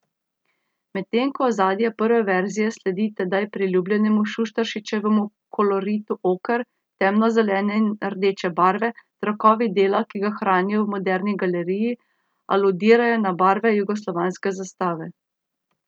Medtem ko ozadje prve verzije sledi tedaj priljubljenemu Šuštaršičevemu koloritu oker, temno zelene in rdeče barve, trakovi dela, ki ga hranijo v Moderni galeriji, aludirajo na barve jugoslovanske zastave.